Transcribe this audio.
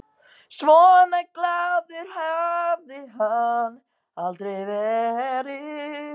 Svona glaður hafði hann aldrei verið.